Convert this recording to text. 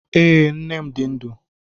Ee, nne m di ndu.